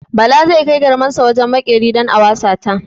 Bala zai kai garmarsa wajen maƙeri don a wasa ta.